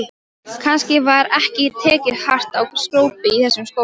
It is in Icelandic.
Kannski var ekki tekið hart á skrópi í þessum skóla.